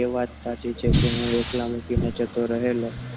એ વાત સાચી છે કે હું એકલો મૂકીને જતો રહેલો.